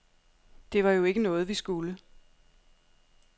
Det var jo ikke noget, vi skulle.